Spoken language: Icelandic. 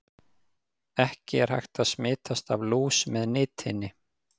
Ekki er hægt að smitast af lús með nitinni.